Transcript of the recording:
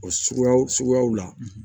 O suguyaw suguyaw la